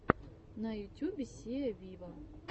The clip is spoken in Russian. на ютюбе сиа виво